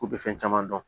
K'u bɛ fɛn caman dɔn